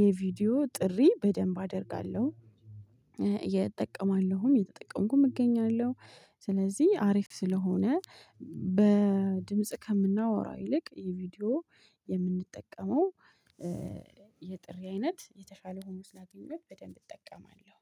የቪዲዮ ጥሪ በደንብ አደርጋለሁ። እጠቀማለሁም እየተጠቀምኩም እገኛለሁ። ስለዚህ አሪፍ ስለሆነ በድምጽ ከምናወራ ይልቅ የቪዲዮ የምንጠቀመው የጥሪ አይነት የተሻለ ሆኖ ስላገኘሁት በደንብ እጠቀማለሁ